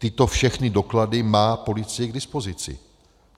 Tyto všechny doklady má policie k dispozici.